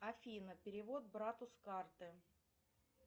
афина перевод брату с карты